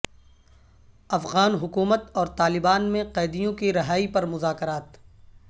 افغان حکومت اور طالبان میں قیدیوں کی رہائی پر مذاکرات